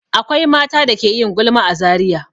Akwai mata da ke yin gulma a Zariya.